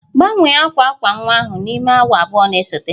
Gbanwee akwa akwa nwa ahụ n'ime awa abụọ na-esote!